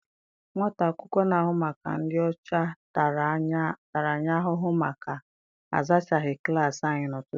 Nwata akwụkwọ na-ahụ maka ịdị ọcha tara anyị ahụhụ maka a zachaghị klaasị anyị n'ụtụtụ a.